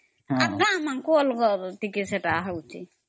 ଆମମାନଙ୍କର ଟିକେ ଅଲଗା ସେଟା ହେଉଛି